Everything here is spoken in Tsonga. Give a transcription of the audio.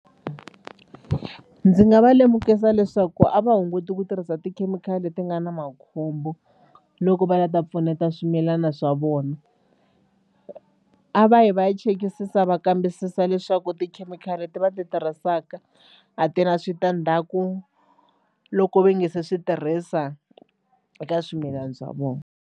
Ndzi nga va lemukisa leswaku a va hunguti ku tirhisa tikhemikhali leti nga na makhombo loko va la ta pfuneta swimilana swa vona. A va yi va ya chekisisa va kambisisa leswaku tikhemikhali leti va ti tirhisaka a ti na switandzhaku loko va nga se swi tirhisa eka swimilani swa vona.